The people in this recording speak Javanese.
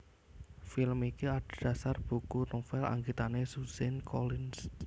Film iki adhedhasar buku novel anggitané Suzanne Collins